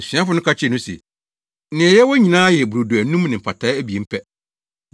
Asuafo no ka kyerɛɛ no se, “Nea yɛwɔ nyinaa yɛ brodo anum ne mpataa abien pɛ.”